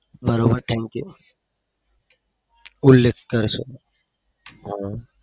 બરોબર thank you ઉલ્લેખ થયો છે.